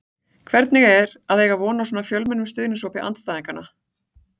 Hvernig er að eiga von á svo fjölmennum stuðningshópi andstæðinganna?